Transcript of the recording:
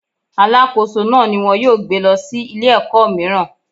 Alákóso náà ni wón yóò gbé lọ sí ilé ẹ̀kọ́ míràn.